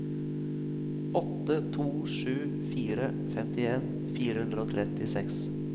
åtte to sju fire femtien fire hundre og trettiseks